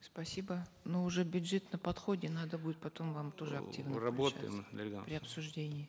спасибо но уже бюджет на подходе надо будет потом вам тоже работаем дарига при обсуждении